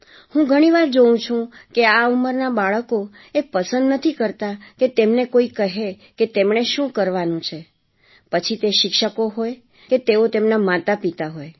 હું ઘણી વાર જોઉં છું કે આ ઉંમરનાં બાળકો એ પસંદ નથી કરતા કે તેમને કોઈ કહે કે તેમણે શું કરવાનું છે પછી તે શિક્ષકો હોય કે તેઓ તેમનાં માતાપિતા હોય